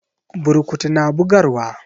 Burkutu na bugarwa.